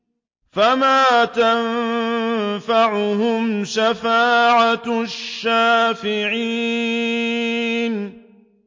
فَمَا تَنفَعُهُمْ شَفَاعَةُ الشَّافِعِينَ